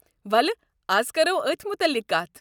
وَلہٕ از کَرو اتھ متعلِق کتھ۔